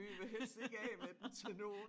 Vi vil helst ikke af med den til nogen